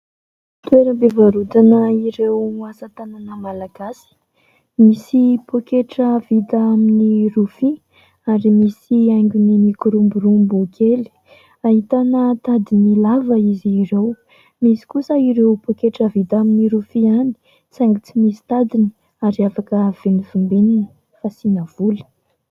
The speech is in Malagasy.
Toeram-pivarotana ireo asa tanana malagasy : misy poketra vita amin'ny rofia, ary misy haingony mikoromborombo kely, ahitana tadiny lava izy ireo, misy kosa ireo pôketra vita amin'ny rofia ihany saingy tsy misy tadiny ary afaka vimbivimbinina fasiana vola.